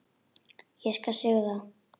Ég skal sigra!